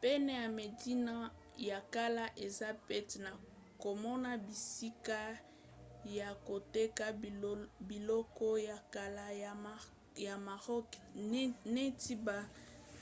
pene ya medina ya kala eza pete na komona bisika ya koteka biloko ya kala ya maroc neti ba